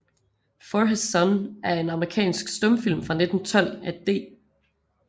For His Son er en amerikansk stumfilm fra 1912 af D